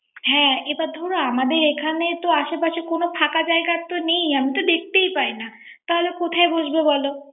হ্যা এটা ধরো আমাদের এখানে তো আশে পাশে কোন ফাঁকা জায়গা তো নেই। আমি তো দেখতেই পায়না। তাহলে কোথায় বসবো বলো।